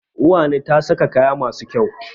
Uwani ta sa kaya masu kyau.